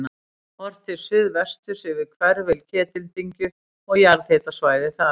Horft til suðvesturs yfir hvirfil Ketildyngju og jarðhitasvæðið þar.